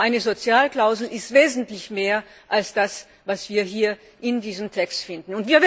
Aber eine Sozialklausel ist wesentlich mehr als das, was wir hier in diesem Text finden.